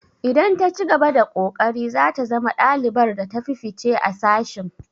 Idan ta cigaba da ƙoƙari zata zama ɗalibar da ta fi fice a sashin.